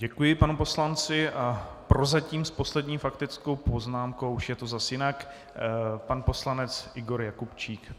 Děkuji panu poslanci a prozatím s poslední faktickou poznámkou - už je to zas jinak - pan poslanec Igor Jakubčík.